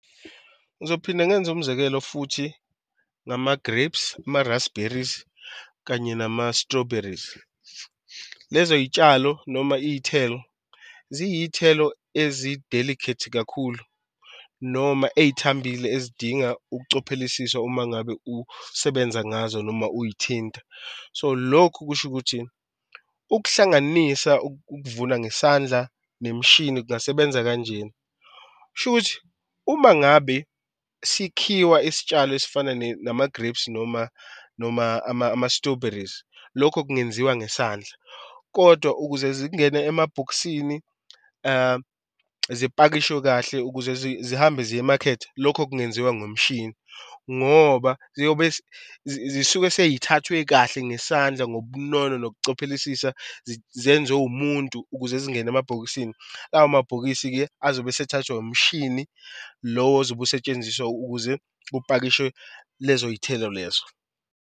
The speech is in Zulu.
Ngizophinda ngenze umzekelo futhi ngama-grapes, ama-rasberries kanye nama-strawberries. Lezo y'tshalo noma iy'thelo ziyiy'thelo ezi-delicate kakhulu noma ey'thambile ezidinga ukucophelisiswa uma ngabe usebenza ngazo noma uy'thinta. So lokhu kusho ukuthi ukuhlanganisa ukuvuna ngesandla nemishini kungasebenza kanjena. Kushuthi uma ngabe sikhiwa isitshalo esifana nama-grapes noma noma ama-strawberries. Lokho kungenziwa ngesandla, kodwa ukuze zingene emabhokisini zipakishwe kahle ukuze zihambe ziyemakhethi, lokho kungenziwa ngomshini ngoba ziyobe zisuke sey'thathiwe kahle ngesandla ngobunono nokucophelelisisa zenziwe umuntu ukuze zingene emabhokisini. Lawo mabhokisi-ke azobe sethathwa umshini lowo ozobe usetshenziswa ukuze kupakishwe lezo y'thelo lezo.